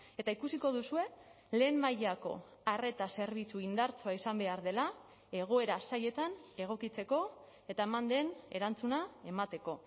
eta ikusiko duzue lehen mailako arreta zerbitzu indartsua izan behar dela egoera zailetan egokitzeko eta eman den erantzuna emateko